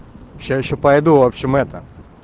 сейчас ещё пойду в общем это